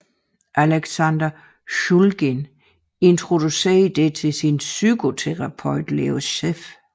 Alexander Shulgin introducerede det til psykoterapeuten Leo Zeff